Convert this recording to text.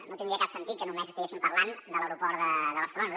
no tindria cap sentit que només estiguéssim parlant de l’aeroport de barcelona